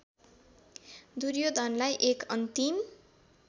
दुर्योधनलाई एक अन्तिम